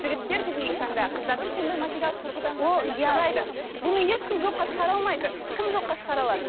жігіттер бүгінгі таңда қыздардың сондай материалдық тұрғыдан жағдайына қарайды бұны ешкім жоққа шығара алмайды кім жоққа шығара алады